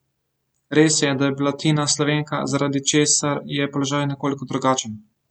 Res je, da je bila Tina Slovenka, zaradi česar je položaj nekoliko drugačen.